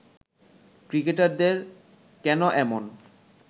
ক্রিকেটারদের কেন এমন